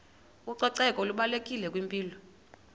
ucoceko lubalulekile kwimpilo